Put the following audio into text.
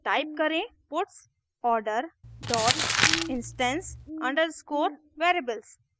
type करें puts order dot instance underscore variables